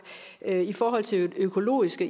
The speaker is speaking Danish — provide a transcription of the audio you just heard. i forhold til det økologiske